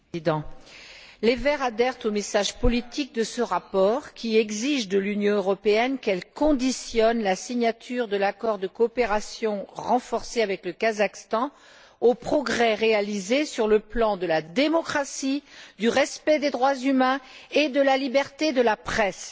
Monsieur le Président, les Verts adhèrent au message politique de ce rapport, qui exige de l'Union européenne qu'elle conditionne la signature de l'accord de coopération renforcée avec le Kazakhstan aux progrès réalisés sur le plan de la démocratie, du respect des droits humains et de la liberté de la presse.